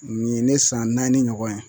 Nin ye ne san naani ɲɔgɔn ye